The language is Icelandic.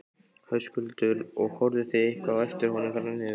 Höskuldur: Og horfðuð þið eitthvað á eftir honum þarna niður?